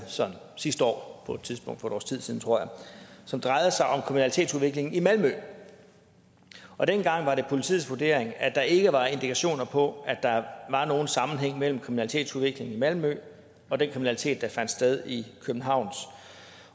sidste år på et tidspunkt for et års tid siden tror jeg som drejede sig om kriminalitetsudviklingen i malmø og dengang var det politiets vurdering at der ikke var indikationer på at der var nogen sammenhæng mellem kriminalitetsudviklingen i malmø og den kriminalitet der fandt sted i københavns